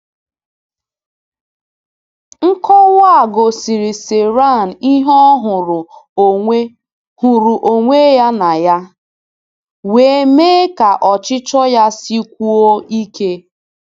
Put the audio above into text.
Nkọwa a gosiiri Ciarán ihe ọ hụrụ onwe hụrụ onwe ya na ya wee mee ka ọchịchọ ya sikwuo ike.